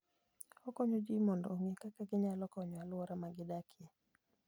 Okonyo ji mondo ong'e kaka ginyalo konyo alwora ma gidakie.